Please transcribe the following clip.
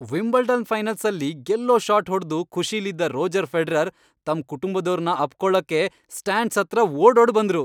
Wimbledon ಫೈನಲ್ಸಲ್ಲಿ ಗೆಲ್ಲೋ shot ಹೊಡ್ದು ಖುಷೀಲಿದ್ದ ರೋಜರ್ ಫೆಡರರ್ ತಮ್ ಕುಟುಂಬದೋರ್ನ ಅಪ್ಪ್ಕೊಳಕ್ಕೆ ಸ್ಟ್ಯಾಂಡ್ಸ್ ಹತ್ರ ಓಡೋಡ್ಬಂದ್ರು.